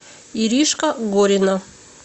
иришка горина